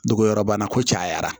Dogo yɔrɔ bana ko cayara